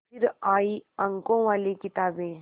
फिर आई अंकों वाली किताबें